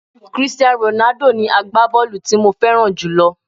Christian Ronaldo ni agbábọ́ọ̀lù tí mo fẹ́ràn jùlọ